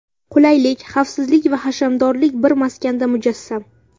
Qulaylik, xavfsizlik va hashamdorlik bir maskanda mujassam.